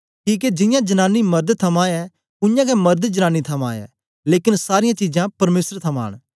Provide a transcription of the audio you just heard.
किके जियां जनांनी मर्द थमां ऐ उयांगै मर्द जनांनी थमां ऐ लेकन सारीयां चीजां परमेसर थमां न